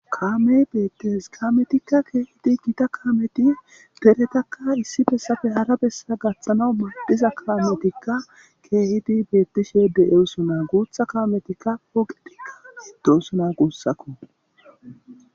Kammey bettees kammetikka kehiddi gitta kammey deretakka issi bessappe hara bessa gathanaw maddees hizza kammetikka kehiddi betishshe dossona gutha kammetikka de'ssona gussakko.